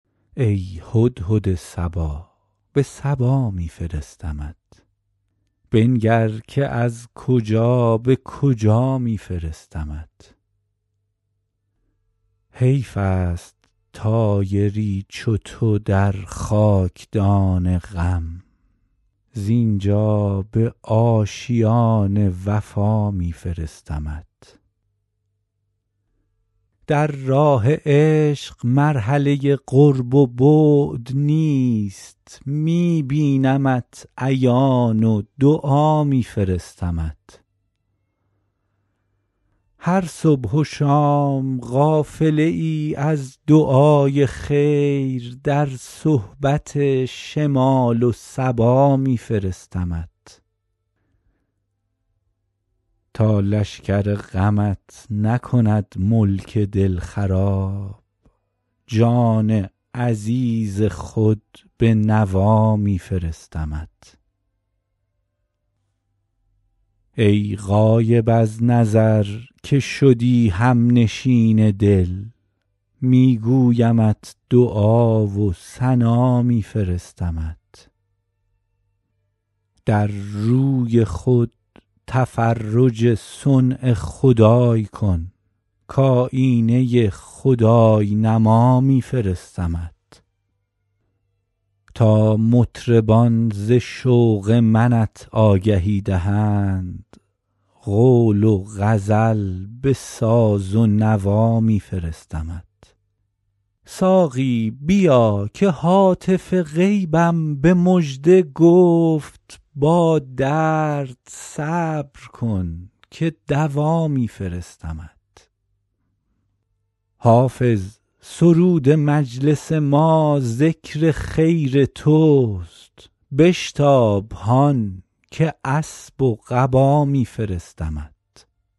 ای هدهد صبا به سبا می فرستمت بنگر که از کجا به کجا می فرستمت حیف است طایری چو تو در خاک دان غم زین جا به آشیان وفا می فرستمت در راه عشق مرحله قرب و بعد نیست می بینمت عیان و دعا می فرستمت هر صبح و شام قافله ای از دعای خیر در صحبت شمال و صبا می فرستمت تا لشکر غمت نکند ملک دل خراب جان عزیز خود به نوا می فرستمت ای غایب از نظر که شدی هم نشین دل می گویمت دعا و ثنا می فرستمت در روی خود تفرج صنع خدای کن کآیینه خدای نما می فرستمت تا مطربان ز شوق منت آگهی دهند قول و غزل به ساز و نوا می فرستمت ساقی بیا که هاتف غیبم به مژده گفت با درد صبر کن که دوا می فرستمت حافظ سرود مجلس ما ذکر خیر توست بشتاب هان که اسب و قبا می فرستمت